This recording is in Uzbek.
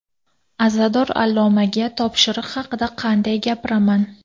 Azador allomaga topshiriq haqida qanday gapiraman?